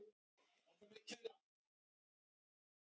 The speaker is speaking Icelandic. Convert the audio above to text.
frumreglur evklíðs eru tvenns konar